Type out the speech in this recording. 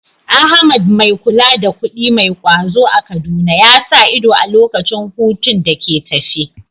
Ahmad, mai kula da kuɗi mai ƙwazo a Kaduna, ya sa ido a lokacin hutun da ke tafe.